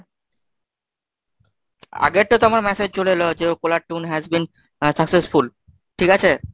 আগেরটা তো আমার message চলে এলো যে caller tune has been uh successful ঠিক আছে?